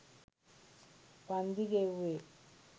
වන්දි ගෙව්වේ